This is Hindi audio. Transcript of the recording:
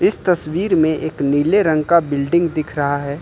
इस तस्वीर में एक नीले रंग का बिल्डिंग दिख रहा है।